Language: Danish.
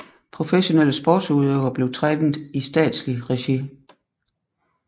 Professionelle sportsudøvere blev trænet i statslig regi